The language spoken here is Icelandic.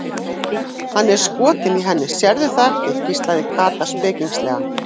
Hann er skotinn í henni, sérðu það ekki? hvíslaði Kata spekingslega.